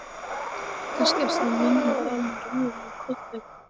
Kannski ert þú minn eini raunverulegi kollega.